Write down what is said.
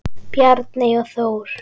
Bjarney og Þór.